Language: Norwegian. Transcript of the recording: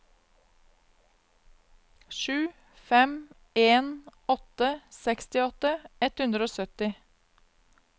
sju fem en åtte sekstiåtte ett hundre og sytti